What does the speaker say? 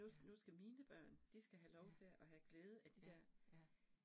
Ja. Ja, ja ja